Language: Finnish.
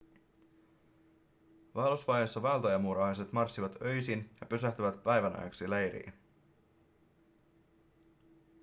vaellusvaiheessa vaeltajamuurahaiset marssivat öisin ja pysähtyvät päivän ajaksi leiriin